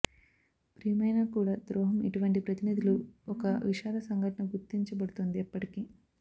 ప్రియమైన కూడా ద్రోహం ఇటువంటి ప్రతినిధులు ఒక విషాద సంఘటన గుర్తించబడుతుంది ఎప్పటికీ